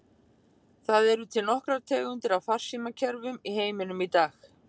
Það eru til nokkrar tegundir af farsímakerfum í heiminum í dag.